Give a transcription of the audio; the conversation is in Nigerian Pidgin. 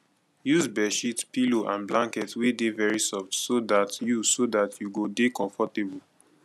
use bedsheet pillow and blanket wey dey very soft so dat you so dat you go dey comfortable